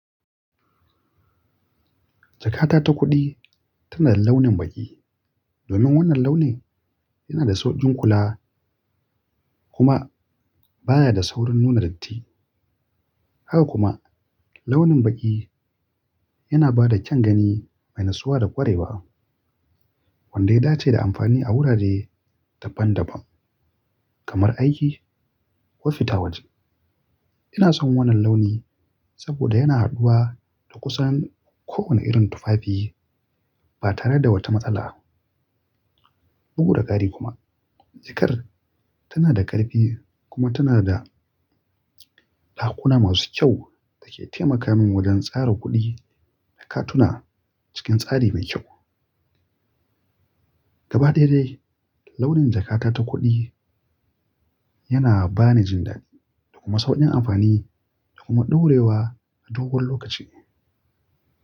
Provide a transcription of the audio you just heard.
Jakata ta kuɗi tana da launin baƙi. Domin wannan launi yana da sauƙin kula kuma baya da saurin nuna datti. Haka kuma, launin baƙi yana ba da kyan gani mai nasuwa da ƙwarewa, wanda ya dace da amfani a wurare daban-daban kamar aiki ko fita waje. Ina son wannan launi, saboda yana haduwa da kusan kowani irin tufafi ba tare da wata matsala ba. Bugu da ƙari kuma, jakar tana da ƙarfi kuma tana da dakuna masu kyau da ke taimaka min wajen tsara kuɗi da katuna cikin tsari mai kyau. Gabaɗaya dai, launin jakata ta kuɗi yana ba ni jin daɗi, da kuma sauƙin amfani, da kuma ɗaurewa na dogon lokaci.